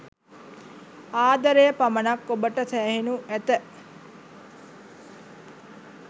ආදරය පමණක් ඔබට සෑහෙනු ඇත.